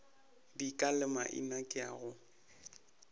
dika le maina ke go